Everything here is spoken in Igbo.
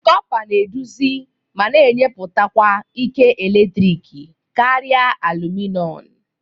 Kọpa na eduzi ma na-enyepụkwa ike eletrik karị alụmịnọm